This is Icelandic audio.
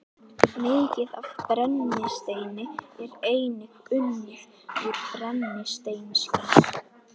Mikið af brennisteini er einnig unnið úr brennisteinskís.